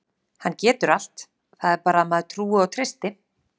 Hann getur allt, það er bara að maður trúi og treysti.